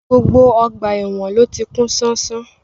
Gbogbo ọgbà èwọ̀n ló ti kún ṣánṣán